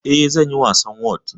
Eh, zanyi wasan whot